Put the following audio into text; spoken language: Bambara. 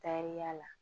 Taariya la